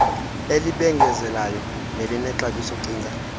elibengezelayo nelinexabiso cinga